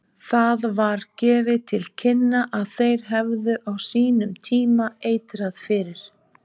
Það var gefið til kynna að þeir hefðu á sínum tíma eitrað fyrir